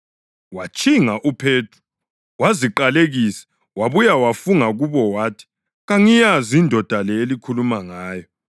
Watshinga uPhethro, waziqalekisa wabuye wafunga kubo wathi, “Kangiyazi indoda le elikhuluma ngayo.”